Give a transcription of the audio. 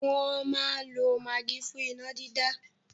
Wọ́n máa n lo magí fún iná dídá